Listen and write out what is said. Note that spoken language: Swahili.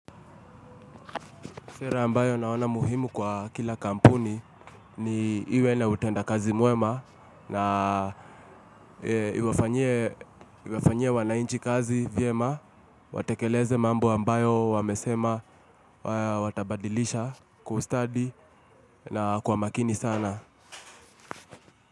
Sera ambayo naona muhimu kwa kila kampuni ni iwe na utenda kazi mwema na iwafanyie wananchi kazi vyema. Watekeleze mambo ambayo wamesema watabadilisha kwa ustadi na kwa makini sana.